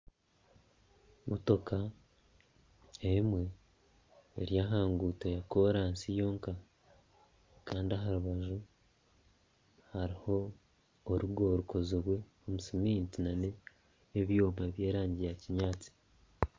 Motoka emwe eri aha nguuto ya koransi yonka kandi aha rubaju hariho orugo rukozirwe omu siminti na ebyoma bya erangi ya kinyantsi.